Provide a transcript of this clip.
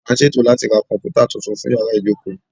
A ń ṣètò láti ra Kọ̀m̀pútà tuntun fún yàrá ìjókòó